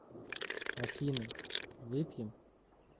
афина выпьем